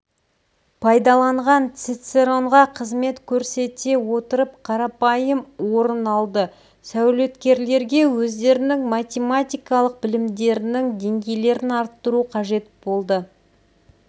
пайдаланған цицеронға қызмет көрсете отырып қарапайым орын алды сәулеткерлерге өздерінің математикалық білімдерінің деңгейлерін арттыру қажет болды